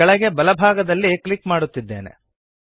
ನಾನು ಕೆಳಗೆ ಬಲಭಾಗದಲ್ಲಿ ಕ್ಲಿಕ್ ಮಾಡುತ್ತಿದ್ದೇನೆ